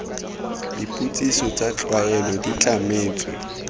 dipotsiso tsa tlwaelo di tlametswe